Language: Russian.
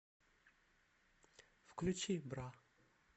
включи бра